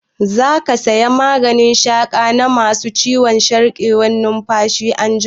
Za ka saya maganin shaƙa na ma su ciwon sarƙewar numfashi anjima?